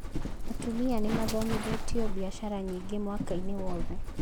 Atumia nĩmathomithĩtio biacara nyingĩ mwaka-inĩ wothe